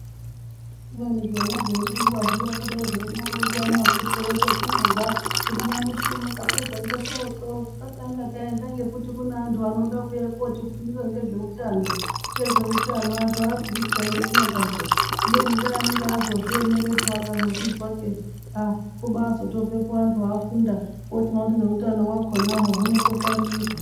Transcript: Kubeni zvona zveyi ronzwa zviya kudai zvenya ronzwa musoto ekwetinobva kuti nyamushi unowu tapedza ngesoto tisa tanga taenda ngekuti kune antu anoda kuuya kuti fundisa ngezve utano antu abviri peya ngeku nyangadzwa kubeni ngee anenge azozvi emerepo akazvizwa kei aaa kubai zobvepo antu afunda otoona kuti ngeutano hwakonahwo hunoto ngwarirwa.